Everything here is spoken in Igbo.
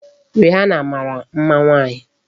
Rihana mara mma nwaanyị.